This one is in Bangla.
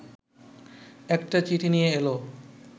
একটা চিঠি নিয়ে এল